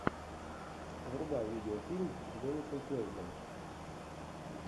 врубай видеофильм с деннисом куэйдом